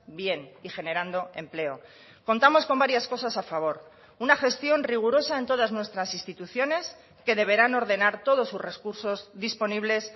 bien y generando empleo contamos con varias cosas a favor una gestión rigurosa en todas nuestras instituciones que deberán ordenar todos sus recursos disponibles